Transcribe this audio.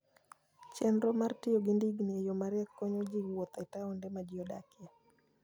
Chenro mar tiyo gi ndigni e yo mariek konyo ji wuotho e taonde ma ji odakie.